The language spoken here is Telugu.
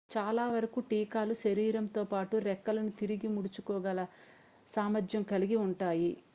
చాలా వరకు కీటకాలు శరీరంతో పాటు రెక్కలను తిరిగి ముడుచుకోగల సామర్థ్యం కలిగి ఉంటాయి